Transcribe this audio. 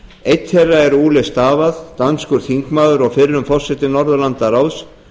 einn þeirra var ole stavad danskur þingmaður og fyrrum forseti norðurlandaráðs